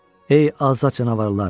Ey azad canavarlar!